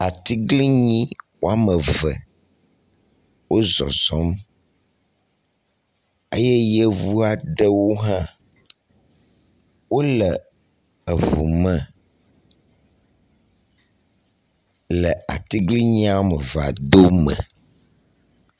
Atiglinyi woameve wó zɔzɔm eyɛ yevuaɖewo hã wóle eʋu me le atiglinyiɔmevea dome